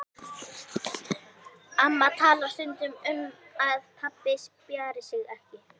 Amma talar stundum um að pabbi spjari sig ekki.